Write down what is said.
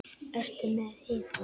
Ertu með hita?